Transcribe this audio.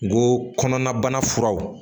N ko kɔnɔna bana furaw